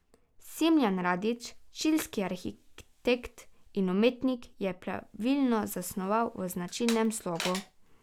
Smiljan Radić, čilski arhitekt in umetnik, je paviljon zasnoval v značilnem slogu.